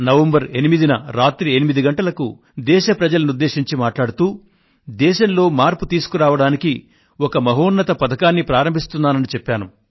November 8న రాత్రి 8 గంటలకు దేశ ప్రజలను ఉద్దేశించి నేను మాట్లాడుతూ దేశంలో మార్పు తీసుకురావడానికి ఒక మహోన్నత పథకాన్ని ప్రారంభిస్తున్నానని చెప్పాను